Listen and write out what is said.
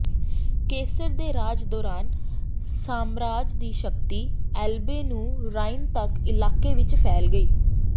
cancer ਦੇ ਰਾਜ ਦੌਰਾਨ ਸਾਮਰਾਜ ਦੀ ਸ਼ਕਤੀ ਐਲਬੇ ਨੂੰ ਰਾਈਨ ਤੱਕ ਇਲਾਕੇ ਵਿਚ ਫੈਲ ਗਈ